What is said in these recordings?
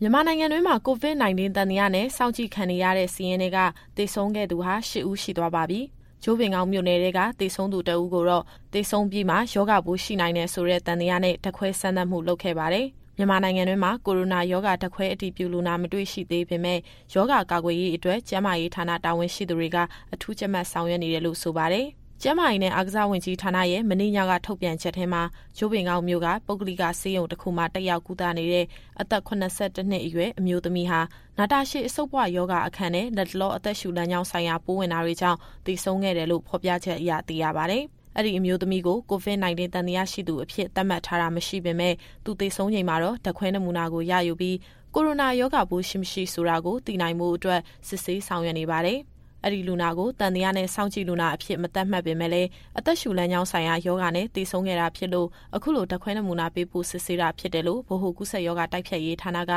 မြန်မာနိုင်ငံတွင်းမှာ COVID-19 သံသယနဲ့ စောင့်ကြည့်ခံရတဲ့ စာရင်းထဲက သေဆုံးခဲ့သူဟာ ၈ ဦး ရှိသွားပါပြီ။ ကြို့ပင်ကောက်မြို့နယ်ထဲက သေဆုံးသူ တဦးကိုတော့ သေဆုံးပြီးမှ ရောဂါပိုးရှိနိုင်တယ်ဆိုတဲ့ သံသယနဲ့ ဓာတ်ခွဲစမ်းသပ်မှု လုပ်ခဲ့ပါတယ်။ မြန်မာနိုင်ငံတွင်းမှာ ကိုရိုနာရောဂါ ဓာတ်ခွဲအတည်ပြုလူနာ မတွေ့ရှိသေးပေမဲ့ ရောဂါကာကွယ်ရေးအတွက် ကျန်းမာရေးဌာနတာဝန်ရှိသူတွေက အထူးကြပ်မတ်ဆောင်ရွက်နေတယ်လို့ ဆိုပါတယ်။ ဒီအကြောင်းအပြည့်အစုံကို ဗွီအိုအေသတင်းထောက် စုစုက ပြောပြသွားမှာပါ။ ကျန်းမာရေးနဲ့ အားကစားဝန်ကြီးဌာနရဲ့ မနေ့ညက ထုတ်ပြန်ချက်ထဲမှာ ကြို့ပင်ကောက်မြို့က ပုဂ္ဂလိကဆေးရုံတခုမှာ တက်ရောက်ကုသနေတဲ့ အသက် ၇၁ နှစ်အရွယ် အမျိုးသမီးဟာ နာတာရှည်အဆုတ်ပွရောဂါအခံနဲ့ လတ်တလောအသက်ရှူလမ်းကြောင်းဆိုင်ရာ ပိုးဝင်တာတွေကြောင့် သေဆုံးခဲ့တယ်လို့ ဖော်ပြချက်အရ သိရပါတယ်။ အဲဒီအမျိုးသမီးကို COVID-19 သံသယရှိသူအဖြစ် သတ်မှတ်ထားတာ မရှိပေမဲ့ သူသေဆုံးချိန်မှာတော့ ဓာတ်ခွဲနမူနာကို ရယူပြီး ကိုရိုနာရောဂါပိုးရှိ၊ မရှိဆိုတာကို သိရှိနိုင်ဖို့အတွက် စစ်ဆေးဆောင်ရွက်နေပါတယ်။ ဒီလူနာကို သံသယနဲ့ စောင့်ကြည့်လူနာအဖြစ် မသတ်မှတ်ပေမဲ့လည်း အသက်ရှူလမ်းကြောင်းဆိုင်ရာ ရောဂါနဲ့ သေဆုံးခဲ့တာဖြစ်လို့ အခုလိုဓာတ်ခွဲနမူနာပေးပို့ စစ်ဆေးတာဖြစ်တယ်လို့ ဗဟိုကူးစက်ရောဂါ တိုက်ဖျက်ရေးဌာနက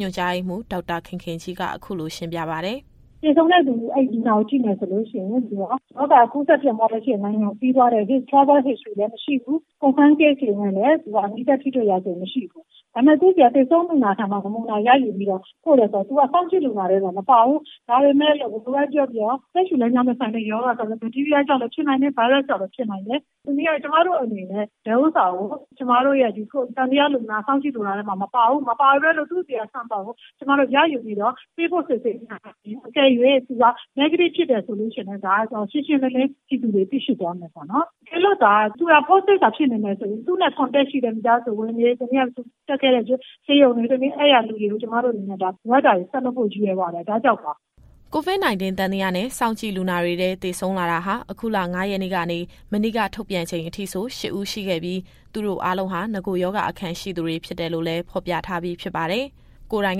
ညွှန်ကြားရေးမှူး ဒေါက်တာခင်ခင်ကြီးက အခုလိုရှင်းပြပါတယ်။ “သေဆုံးတဲ့လူနာက ရောဂါဖြစ်ပွားလျက်ရှိတဲ့ နိုင်ငံကို ခရီးသွားခဲ့တဲ့ ရာဇဝင်လည်းမရှိဘူး။ ရောဂါဖြစ်သူနဲ့လည်း နီးစပ်ထိတွေ့တာမျိုး မရှိဘူး။ ဒါပေမဲ့ အဲဒီသေဆုံးလူနာဆီက နမူနာရယူပြီးတော့ ပို့တယ်ဆိုတာ သူကစောင့်ကြည့်လူနာထဲတော့ မပါဘူး။ ဒါပေမဲ့ အသက်ရှူလမ်းကြောင်းနဲ့ ဆိုင်တဲ့ရောဂါဆိုတာ ဘတ်တီးရီးယားကြောင့်လည်း ဖြစ်နိုင်တယ်၊ ဗိုင်းရပ်စ်ကြောင့်လည်း ဖြစ်နိုင်တယ်။ တနည်းအားဖြင့်ဆိုရင် ကျမတို့အနေနဲ့ ဒါက သံသယလူနာ၊ စောင့်ကြည့်လူနာထဲမှာ မပါပေမဲ့ သူ့ဆီကနမူနာကို ကျမတို့ ရယူပြီးတော့ ပေးပို့စစ်ဆေးခြင်းအားဖြင့် အကယ်၍ သူက Negative ဖြစ်တယ်ဆိုရင် ဒါကိုရှင်းရှင်းလင်းလင်း ပြည်သူတွေ သိရှိသွားမယ်ပေါ့နော်။ တကယ်လို့သာ သူဟာ Positive ဖြစ်နေမယ်ဆိုရင် သူ့ရဲ့မိသားစုဝင်တွေ၊ သူတက်ခဲ့တဲ့ဆေးရုံကလူတွေကို ကျမတို့အနေနဲ့ လိုအပ်တာတွေ ဆက်လုပ်ဖို့ ရည်ရွယ်ပါတယ်၊ ဒါကြောင့်ပါ။” COVID-19 သံသယနဲ့ စောင့်ကြည့်လူနာတွေ သေဆုံးလာတာဟာ အခုလ ၅ ရက်နေ့ကနေ မနေ့က ထုတ်ပြန်ချိန်အထိဆို ၈ ဦး ရှိခဲ့ပြီး သူတို့အားလုံးဟာ နဂိုရောဂါအခံရှိသူတွေဖြစ်တယ်လို့လည်း ဖော်ပြထားပြီးဖြစ်ပါတယ်။ ကိုယ်တိုင်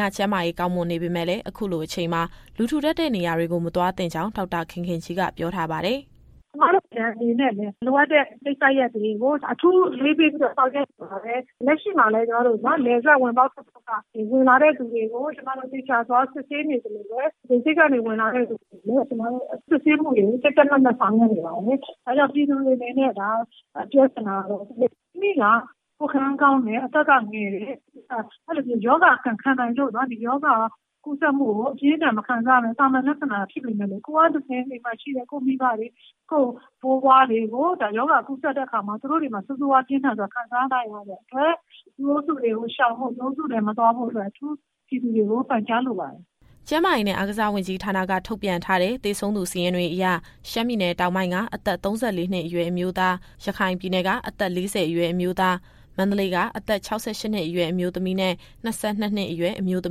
က ကျန်းမာရေးကောင်းမွန်နေပေမယ့်လည်း အခုလိုအချိန်မှာ လူထူထပ်တဲ့နေရာကို မသွားသင့်ကြောင်း ဒေါက်တာခင်ခင်ကြီးက ပြောထားပါတယ်။ “ကျမတို့ နိုင်ငံအနေနဲ့လည်း လိုအပ်တဲ့ကိစ္စရပ်တွေကို အထူးအလေးပေးပြီး ဆောင်ရွက်နေပါတယ်။ လက်ရှိမှာလည်း နယ်စပ်ဝင်ပေါက် ထွက်ပေါက်တွေက ဝင်လာသူတွေကို သေချာစစ်ဆေးနေသလို လေဆိပ်ကနေ ဝင်လာသူတွေကိုလည်း ကြပ်ကြပ်မတ်မတ် ဆောင်ရွက်နေပါတယ်။ ဒါကြောင့်မို့ ပြည်သူတွေကိုပြောချင်တာကတော့ မိမိက ကိုယ်ခံအားကောင်းတယ်၊ အသက်ကငယ်တယ်၊ ရောဂါကိုလည်း ခံနိုင်ရည်ရှိတယ်။ အဲဒါကြောင့် ဒီရောဂါကူးစက်မှုကို အပြင်းအထန်မခံစားရဘဲ သာမန်လက္ခဏာရှိပေမယ့်လို့ ကိုယ်ကနေတဆင့် အိမ်မှာရှိတဲ့မိဘတွေ၊ အဖိုးအဖွားတွေကို ကူးစက်တဲ့အခါ သူတို့တွေမှာ ဆိုးဆိုးရွားရွားခံစားနိုင်တဲ့အတွက် လူအုပ်စုတွေကိုရှောင်ဖို့ လူအုပ်စုထဲမသွားဖို့အတွက် ပြည်သူတွေကို အထူးပန်ကြားလိုပါတယ်။” ကျန်းမာရေးနဲ့ အားကစားဝန်ကြီးဌာနက ထုတ်ပြန်ထားတဲ့ သေဆုံးသူ စာရင်းတွေအရ ရှမ်းပြည်တောင်ပိုင်းက အသက် ၃၄ နှစ်အရွယ် အမျိုးသား၊ ရခိုင်ပြည်နယ်က အသက် ၄၀ အရွယ် အမျိုးသား၊ မန္တလေးက အသက် ၆၈ နှစ်အရွယ် အမျိုးသမီးနဲ့ ၂၂ နှစ်အရွယ် အမျိုးသ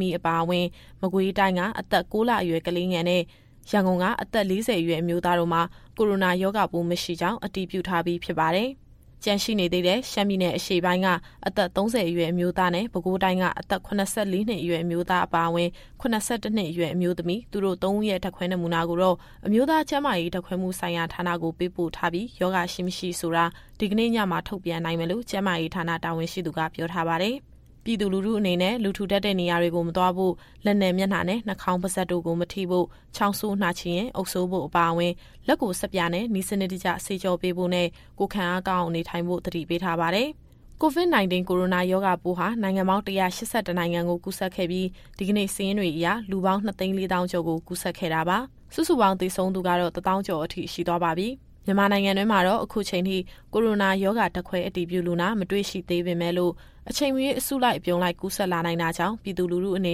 မီးအပါအဝင်၊ မကွေးတိုင်းက အသက် ၉လအရွယ် ကလေးငယ်နဲ့ ရန်ကုန်က အသက် ၄၀ အရွယ်အမျိုးသားတို့မှာ ကိုရိုနာရောဂါပိုး မရှိကြောင်း အတည်ပြုထားပြီးဖြစ်ပါတယ်။ ကျန်ရှိနေသေးတဲ့ ရှမ်းပြည်အရှေ့ပိုင်းက အသက် ၃၀ အရွယ် အမျိုးသားနဲ့ ပဲခူးတိုင်းက အသက် ၇၄ နှစ်အရွယ် အမျိုးသား အပါအဝင် ၇၁ နှစ်အရွယ် အမျိုးသမီး၊ သူတို့ သုံးဦးရဲ့ ဓာတ်ခွဲနမူနာကိုတော့ အမျိုးသားကျန်းမာရေး ဓာတ်ခွဲမှုဆိုင်ရာဌာနကို ပေးပို့ထားပြီး ရောဂါရှိ မရှိဆိုတာ ဒီကနေ့ညမှာ ထုတ်ပြန်နိုင်မယ်လို့ ကျန်းမာရေးဌာန တာဝန်ရှိသူကပြောထားပါတယ်။ ပြည်သူလူထုအနေနဲ့ လူထူထပ်တဲ့နေရာတွေ မသွားဖို့၊ လက်နဲ့ မျက်နှာနဲ့ နှာခေါင်း၊ ပါးစပ်တို့ကို မထိဖို့၊ ချောင်းဆိုးနှာချေရင် အုပ်စိုးဖို့အပါအဝင်၊ လက်ကိုဆပ်ပြာနဲ့ နည်းစနစ်တကျ သေချာဆေးကြောပေးဖို့နဲ့ ကိုယ်ခံအားကောင်းအောင် နေထိုင်ဖို့ကို သတိပေးထားပါတယ်။ COVID-19 ကိုရိုနာရောဂါပိုးဟာ နိုင်ငံပေါင်း ၁၈၁ နိုင်ငံကို ကူးစက်ခဲ့ပြီး ဒီကနေ့စာရင်းတွေအရ လူပေါင်း ၂၄၀,၀၀၀ ကျော်ကို ကူးစက်ခဲ့တာပါ။ စုစုပေါင်းသေဆုံးသူကတော့ ၁၀,၀၀၀ ကျော်အထိ ရှိသွားပါပြီ။ မြန်မာနိုင်ငံတွင်းမှာတော့ အခုအချိန်အထိ ကိုရိုနာရောဂါ ဓာတ်ခွဲအတည်ပြုလူနာ မတွေ့ရှိသေးပေမဲ့လို့ အချိန်မရွေး အစုလိုက်အပြုံလိုက် ကူးစက်လာနိုင်တာကြောင့် ပြည်သူလူထုအနေ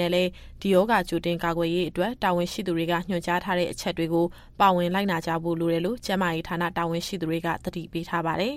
နဲ့လည်း ဒီရောဂါကြိုတင်ကာကွယ်ရေးအတွက် တာဝန်ရှိသူတွေကညွှန်ကြားထားတဲ့ အချက်တွေကို ပါဝင်လိုက်နာကြဖို့ လိုနေတယ်လို့ ကျန်းမာရေးဌာနတာဝန်ရှိသူတွေက သတိပေးထားပါတယ်။